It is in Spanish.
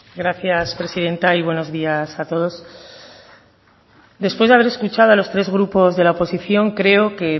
gracias presidenta y bueno días a todos después de haber escuchado a los tres grupos de la oposición creo que